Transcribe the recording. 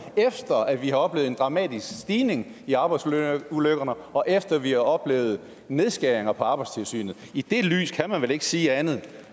efter at vi har oplevet en dramatisk stigning i antallet af arbejdsulykker og efter at vi har oplevet nedskæringer på arbejdstilsynet i det lys kan man vel ikke sige andet